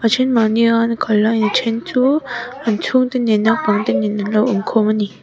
a then mahni a an kal laiin a then chu an chhung te nen naupang te nen anlo awm khawm a ni.